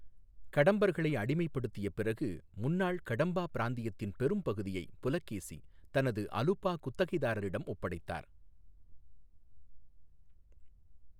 கடம்பர்களை அடிமைப்படுத்திய பிறகு, முன்னாள் கடம்பா பிராந்தியத்தின் பெரும்பகுதியை புலகேசி தனது அலுபா குத்தகைதாரரிடம் ஒப்படைத்தார்.